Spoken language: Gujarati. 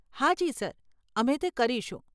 હાજી સર, અમે તે કરીશું.